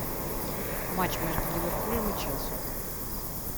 матч между ливерпулем и челси